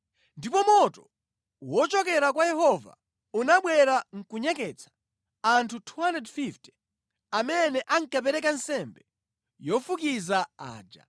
Ndipo moto wochokera kwa Yehova unabwera nʼkunyeketsa anthu 250 amene ankapereka nsembe yofukiza aja.